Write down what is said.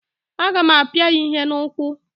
A ga m apịa ya ihe n'ụkwụ.